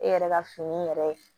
E yɛrɛ ka fini yɛrɛ